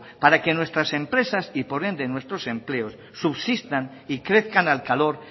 para que nuestras empresas y por ende nuestros empleos subsistan y crezcan al calor